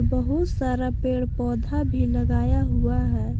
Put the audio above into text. बहुत सारा पेड़ पौधा भी लगाया हुआ है।